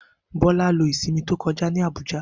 Bola lo isinmi to koja ni Abuja.